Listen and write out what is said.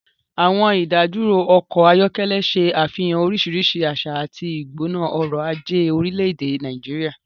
Àwọn ìdádúró ọkọ̀ ayọ́kẹ́lẹ́ ṣe àfihàn oríṣiríṣi àṣà àti ìgbóná ọrọ̀ ajé orílẹ̀-èdè Nàìjíríà.